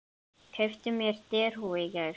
Keypti mér derhúfu í gær.